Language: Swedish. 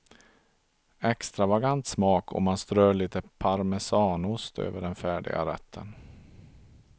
Extravagant smak om man strör lite parmesanost över den färdiga rätten.